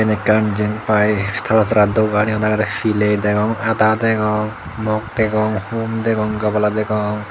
ekkan Jen pai tabasara dogan yot agede piley degong ada degong mok degong hum degong gabala degong.